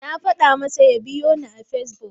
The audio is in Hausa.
Na faɗa masa ya biyoni a Fesbuk.